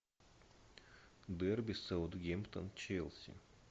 дерби саутгемптон челси